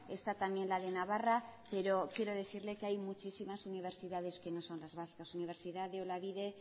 está también la de navarra pero quiero decirle que hay muchísimas universidades que no son las vascas universidad de olavide